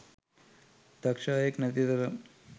දක්ෂ අයෙක් නැති තරම්.